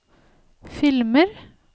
filmer